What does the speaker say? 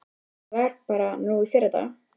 Þetta var bara núna í fyrradag.